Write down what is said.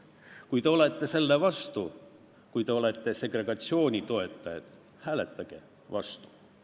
Kui te olete selle vastu ja toetate segregatsiooni, siis hääletage vastu.